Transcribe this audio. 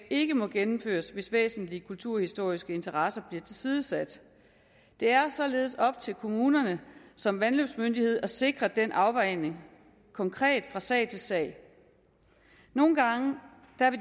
ikke må gennemføres hvis væsentlige kulturhistoriske interesser bliver tilsidesat det er således op til kommunerne som vandløbsmyndighed at sikre den afvejning konkret fra sag til sag nogle gange